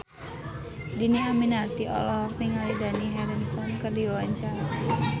Dhini Aminarti olohok ningali Dani Harrison keur diwawancara